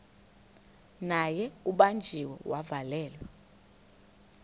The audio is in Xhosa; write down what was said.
naye ubanjiwe wavalelwa